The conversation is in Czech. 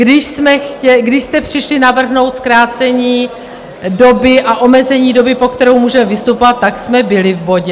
Když jste přišli navrhnout zkrácení doby a omezení doby, po kterou můžeme vystupovat, tak jsme byli v bodě.